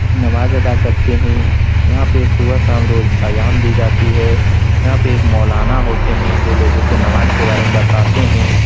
नमाज़ अदा करते है। यहां पे सुबह शाम रोज अज़ान दी जाती है। यहां पे एक मौलाना होते है। जो लोगो को नमाज़ के बारे में बताते है।